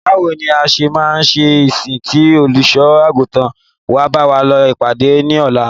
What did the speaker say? Báwo ní a ṣe máa ṣe ìsìn tí Olùṣọ́-àgùntàn wa bá lọ ìpàdé ní ọ̀la?